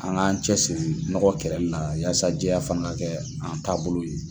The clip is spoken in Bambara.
An k'an cɛ siri nɔgɔ kɛlɛlila yasa jɛya fana ka kɛ an taabolo ye.